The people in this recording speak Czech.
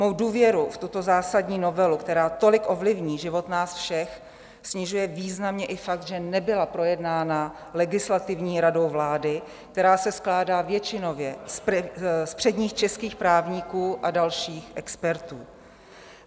Mou důvěru v tuto zásadní novelu, která tolik ovlivní život nás všech, snižuje významně i fakt, že nebyla projednána Legislativní radou vlády, která se skládá většinově z předních českých právníků a dalších expertů.